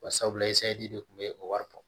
Barisabula de kun be o wari bɔ